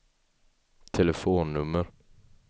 telefonnummer